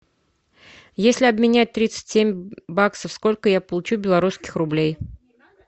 если обменять тридцать семь баксов сколько я получу белорусских рублей